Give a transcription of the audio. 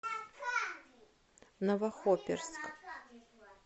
новохоперск